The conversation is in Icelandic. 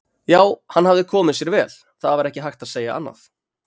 Já, hann hafði komið sér vel, það var ekki hægt að segja annað.